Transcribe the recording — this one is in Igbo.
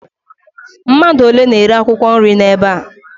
Mmadụ ole na-ere akwụkwọ nri n'ebe a?